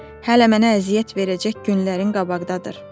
Hələ mənə əziyyət verəcək günlərimin qabaqdadır.